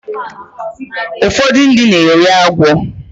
Ụfọdụ ndị na-eri agwọ